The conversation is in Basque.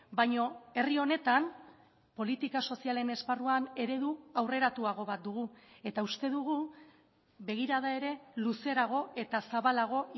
baina herri honetan politika sozialen esparruan eredu aurreratuago bat dugu eta uste dugu begirada ere luzerago eta zabalago